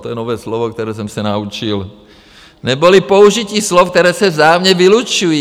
To je nové slovo, které jsem se naučil, neboli použití slov, která se vzájemně vylučují.